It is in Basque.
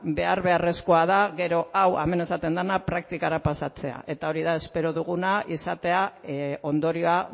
behar beharrezkoa da gero hau hemen esaten dana praktikara pasatzea eta hori da espero duguna izatea ondorioa